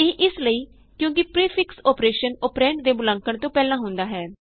ਇਹ ਇਸ ਲਈ ਕਿਉਂ ਕਿ ਪਰੀਫਿਕਸ ਅੋਪਰੇਸ਼ਨ ਅੋਪਰੈਂਡ ਦੇ ਮੁਲਾਂਕਣ ਤੋਂ ਪਹਿਲਾਂ ਹੁੰਦਾ ਹੈ